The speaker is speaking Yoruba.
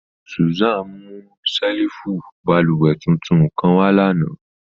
Susan mu ṣẹ́lífù bálúwẹ̀ tuntun kan wà lánà.